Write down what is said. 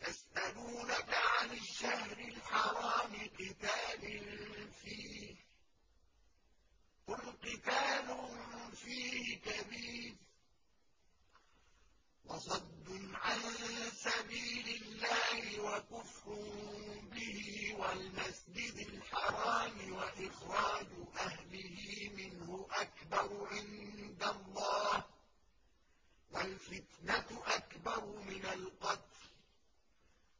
يَسْأَلُونَكَ عَنِ الشَّهْرِ الْحَرَامِ قِتَالٍ فِيهِ ۖ قُلْ قِتَالٌ فِيهِ كَبِيرٌ ۖ وَصَدٌّ عَن سَبِيلِ اللَّهِ وَكُفْرٌ بِهِ وَالْمَسْجِدِ الْحَرَامِ وَإِخْرَاجُ أَهْلِهِ مِنْهُ أَكْبَرُ عِندَ اللَّهِ ۚ وَالْفِتْنَةُ أَكْبَرُ مِنَ الْقَتْلِ ۗ